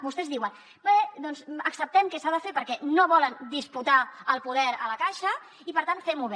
vostès diuen bé doncs acceptem que s’ha de fer perquè no volen disputar el poder a la caixa i per tant fem ho bé